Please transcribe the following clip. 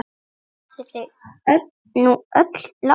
Eru þau nú öll látin.